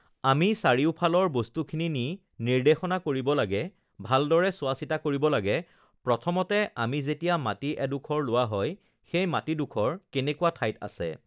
আমি চাৰিওফালৰ বস্তুখিনি নি নিৰ্দেশনা কৰিব লাগে ভালদৰে চোৱা-চিতা কৰিব লাগে প্ৰথমতে আমি যেতিয়া মাটি এডোখৰ লোৱা হয় সেই মাটিডোখৰ কেনেকুৱা ঠাইত আছে